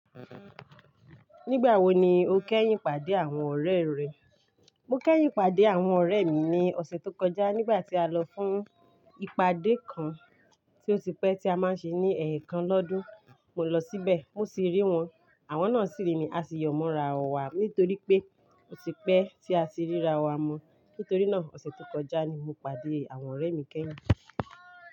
Nígbà wo ni o kẹ́yìn pàdé àwọn ọ̀rẹ́ rẹ? Mo kẹ́yìn pàdé àwọn ọ̀rẹ́ mi ní ọ̀sẹ̀ tó kọjá nígbà tí a lọ fún ìpàdé kan tí ó ti pẹ́ tí a máa ń ṣe ní ẹ̀ kan lọ́dún. Mo lọ síbẹ̀, mo sì rí wọn. Àwọn náà sì rí mi. A sì yọ̀ mọ́ra wà nítorí pé ó ti pẹ́ tí a ti ríra wà mu. Nítorí náà, ọ̀sẹ̀ tó kọjá ni mo pàdé àwọn ọ̀rẹ́ mi kẹ́yìn.